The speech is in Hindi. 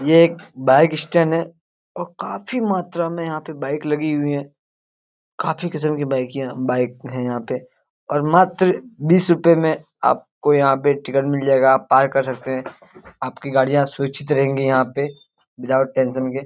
ये एक बाइक स्टैंड है। और काफी मात्रा में यहां बाइक लगी हुई है। काफी किस्म की बाइक यहां बाइक है यहां पे। और मात्र बीस रुपये में आपको यहां पे टिकट मिल जाएगा आप पार्क कर सकते हैं। आपकी गाड़ियां सुरक्षित रहेंगी यहां पे विदाउट टेंशन के।